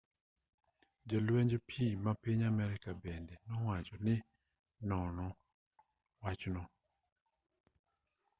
jolwenj pii ma piny amerka bende nowacho ni nono wachno